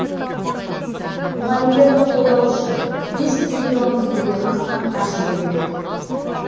мұғалімдерді қолдау үшін бес триллион теңгеден астам қаржы бөлінбек